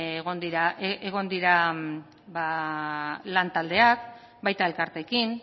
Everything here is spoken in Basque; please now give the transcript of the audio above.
egon diren lantaldeak baita elkarteekin